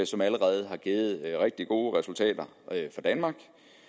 som allerede har givet rigtig gode resultater for danmark